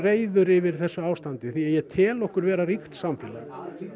yfir þessu ástandi því ég tel okkur vera ríkt samfélag